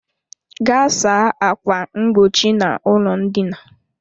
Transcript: Gaa saa ákwà mgbochi n'ụlọ ndina!